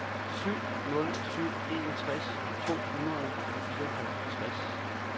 syv nul syv en tres to hundrede og fireoghalvtreds